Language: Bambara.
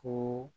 Ko